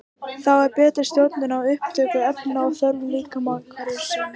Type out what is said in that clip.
Þá er betri stjórnun á upptöku efna eftir þörfum líkamans hverju sinni.